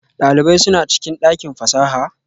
Dalibai suna cikin dakin fasaha?